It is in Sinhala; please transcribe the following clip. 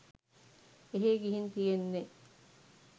එහේ ගිහින් තියෙන්නෙ